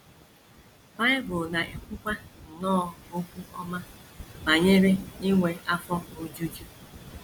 Bible na - ekwukwa nnọọ okwu ọma banyere inwe afọ ojuju.